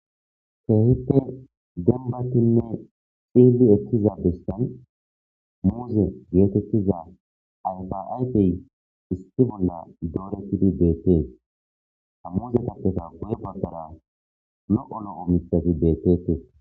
Keehite denbatinne xiili ekkiza bistan muuze geetettiza ayfaaypey isti bolla dooretidi deette a muze kappeta goye babbara no'o lo'o mithati dettete.